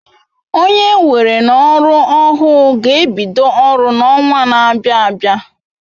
Onye enwere n'oru ohu g'ebido oru n'owa n'abia abia